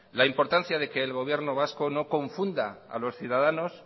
la importancia de que el gobierno vasco no confunda a los ciudadanos